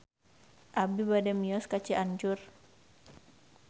Abi bade mios ka Cianjur